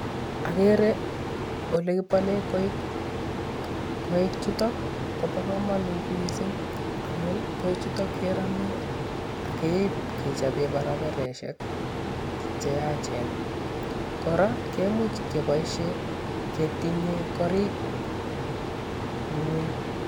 Agere ole kibole koik. Koik chuto kobo kamanut mising amun koi chuto kerame akeib kechobe barabaraisiek cheyachen, kora kemuch kebaisien ketiinye korik ingweny.